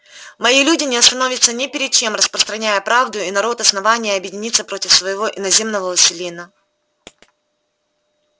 мои люди не остановятся ни перед чем распространяя правду и народ основания объединится против своего иноземного властелина